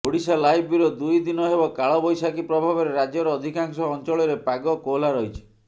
Odisha live bureau ଦୁଇ ଦିନ ହେବ କାଳବୈଶାଖୀ ପ୍ରଭାବରେ ରାଜ୍ୟର ଅଧିକାଂଶ ଅଞ୍ଚଳରେ ପାଗ କୋହଲା ରହିଛି